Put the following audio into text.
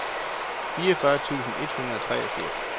fireogfyrre tusind et hundrede og treogfirs